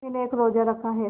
किसी ने एक रोज़ा रखा है